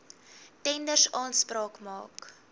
tenders aanspraak maak